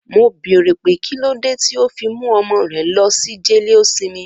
Mo bèrè pé kílódé tí o fi mú ọmọ rẹ lọsi jeleosinmi.